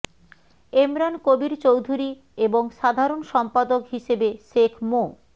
এমরান কবীর চৌধুরী এবং সাধারণ সম্পাদক হিসেবে শেখ মো